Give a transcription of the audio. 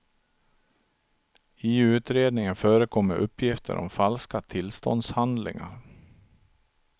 I utredningen förekommer uppgifter om falska tillståndshandlingar.